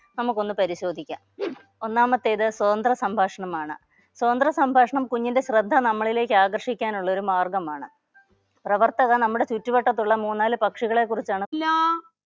നമുക്കൊന്ന് പരിശോധിക്ക ഒന്നാമത്തേത് സ്വതന്ത്ര സംഭാഷണമാണ്. സ്വതന്ത്ര സംഭാഷണം കുഞ്ഞിന്റെ ശ്രദ്ധ നമ്മളിലേക്ക് ആകർഷിക്കാനുള്ള ഒരു മാർഗമാണ്. പ്രവർത്തക നമ്മുടെ ചുറ്റുവട്ടത്തുള്ള മൂന്നാല് പക്ഷികളെ കുറിച്ചാണ്